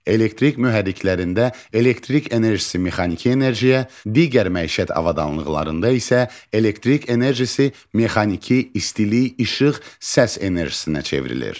Elektrik mühərriklərində elektrik enerjisi mexaniki enerjiyə, digər məişət avadanlıqlarında isə elektrik enerjisi mexaniki, istilik, işıq, səs enerjisinə çevrilir.